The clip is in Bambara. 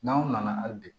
N'anw nana hali bi